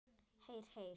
Heyr, heyr.